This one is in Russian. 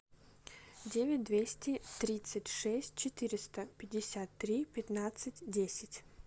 девять двести тридцать шесть четыреста пятьдесят три пятнадцать десять